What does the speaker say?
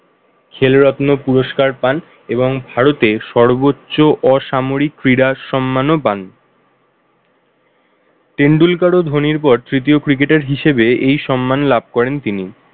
ছেলে রত্ন পুরস্কার পান এবং ভারতে সর্বোচ্চ অসামরিক ক্রীড়া সম্মান ও পান। টেন্ডুলকার ও ধোনির পর তৃতীয় cricketer হিসাবে এই সম্মান লাভ করেন তিনি।